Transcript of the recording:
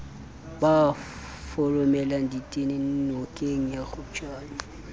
ba foromelang ditene nokengya kgopjane